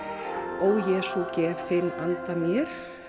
ó Jesú gef þinn anda mér